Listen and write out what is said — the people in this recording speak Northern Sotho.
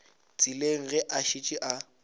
tseleng ge a šetše a